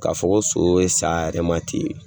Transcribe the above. K'a fɔ ko so bɛ sa a yɛrɛ ma ten.